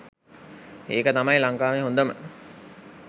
ඒක තමයි ලංකාවේ හොඳම